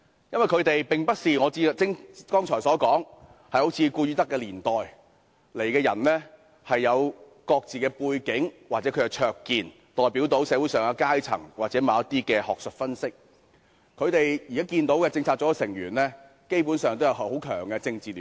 因為他們並非如我剛才所說的"顧汝德時期"的成員般，有各自的背景或灼見，代表社會各階層或精於某些學術分析；現時的中策組成員基本上均有很強的政治聯繫。